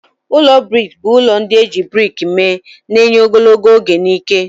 Ụlọ brik bụ ụlọ ndị e ji brik mee, na-enye ogologo oge na ike.